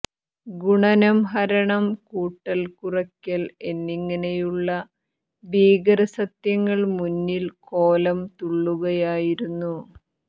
ഗുണനം ഹരണം കൂട്ടൽ കുറയ്ക്കൽ എന്നിങ്ങനെയുള്ള ഭീകര സത്യങ്ങൾ മുന്നിൽ കോലം തുള്ളുകയായിരുന്നു